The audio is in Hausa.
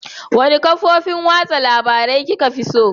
Wanne kafofin watsa labarun kika fi so?